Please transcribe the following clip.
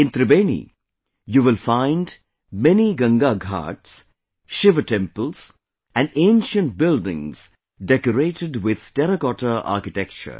In Tribeni, you will find many Ganga Ghats, Shiva temples and ancient buildings decorated with terracotta architecture